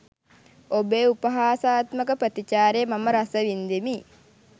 ඔබේ උපාහාසාත්මක ප්‍රතිචාරය මම රස වින්දෙමි.